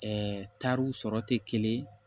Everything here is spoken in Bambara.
tariw sɔrɔ tɛ kelen ye